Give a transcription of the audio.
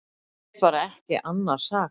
Ég get bara ekki annað sagt.